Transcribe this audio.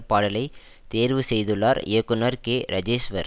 பாடலை தேர்வு செய்துள்ளார் இயக்குனர் கே ரஜேஷ்வர்